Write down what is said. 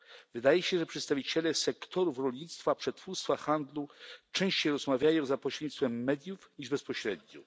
Wydaje się, że przedstawiciele sektorów rolnictwa, przetwórstwa, handlu częściej rozmawiają za pośrednictwem mediów niż bezpośrednio.